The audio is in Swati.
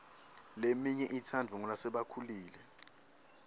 leminye itsandvwa ngulasebakhulile